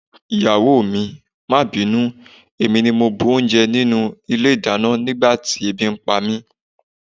Ìyàwó mi, má bínú, èmi ni mo bu oúnjẹ nínú ilé-ìdáná nígbà tí ebi ń pa mí.